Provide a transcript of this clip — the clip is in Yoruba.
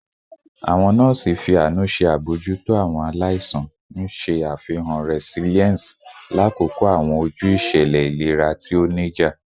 Awọn nọọsi fi aanu ṣe abojuto awọn alaisan, n ṣe afihan resilience lakoko awọn oju iṣẹlẹ ilera ti o nija